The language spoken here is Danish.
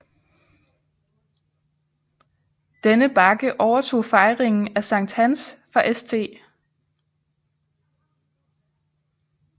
Denne bakke overtog fejringen af Sankt Hans fra St